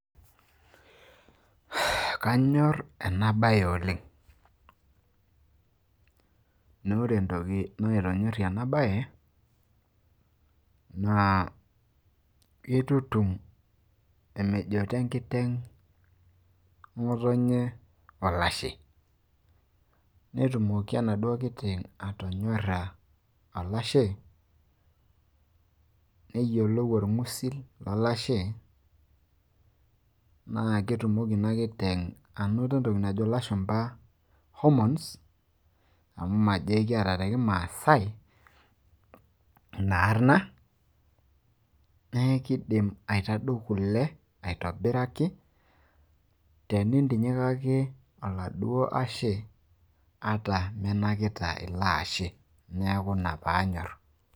kanyor ena bae oleng. naa ore entoki naitonyorie ena bae, naa kitutum emejoto enkiten, ngotonye olashe. netumoki enaduoo kiteng atonyora, olashe, neyiolou orng'usil lolashe, naa ketumoki ina kiteng' anoto entoki najo lashumpa hormones amu majo ekiata te kimaasae ina arna. neeku kidim enkiteng aitadou kule tenintinyikaki oladuo ashe.